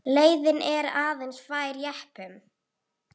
Leiðin er aðeins fær jeppum.